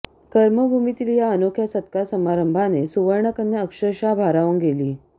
कर्मभूमीतील या अनोख्या सत्कार समारंभाने सुवर्णकन्या अक्षरशः भारावून गेली